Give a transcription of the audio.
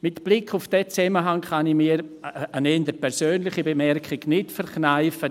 Mit Blick auf diesen Zusammenhang kann ich mir eine eher persönliche Bemerkung nicht verkneifen: